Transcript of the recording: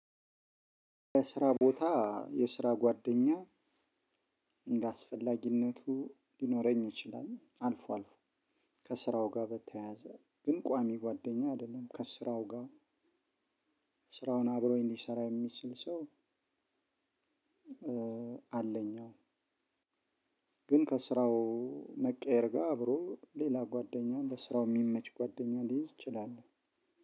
የስራ ቦታ የስራ ጓደኛ እንደአስፈላጊነቱ ሊኖረኝ ይችላል አልፎ አልፎ። ከስራው ጋር በተያያዘ ግን ቋሚ ጓደኛ አይደለም ከስራው ጋር ስራውን አብሮኝ ሊሰራ የሚችል ሰው። አለኝ። ግን ከስራው መቀየር ጋር አብሮ ሌላ ጓደኛ በስራው የሚመች ጓደኛ ሊይዝ ይችላል።